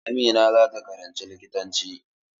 Amina za ta karanci likitanci.